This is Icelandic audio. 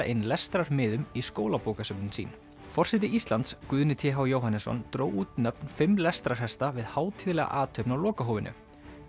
inn í skólabókasöfnin sín forseti Íslands Guðni t h Jóhannesson dró út nöfn fimm lestrarhesta við hátíðlega athöfn á lokahófinu